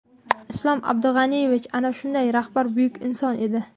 Islom Abdug‘aniyevich ana shunday rahbar, buyuk inson edi.